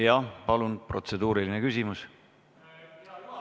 Jah, palun, protseduuriline küsimus!